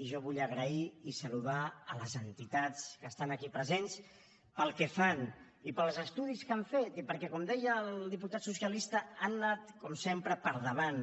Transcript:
i jo vull donar les gràcies i saludar les entitats que estan aquí presents pel que fan i pels estudis que han fet i perquè com deia el diputat socialista han anat com sempre per davant